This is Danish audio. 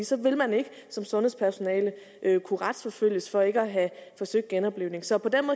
så vil man ikke som sundhedspersonale kunne retsforfølges for ikke at have forsøgt genoplivning så på den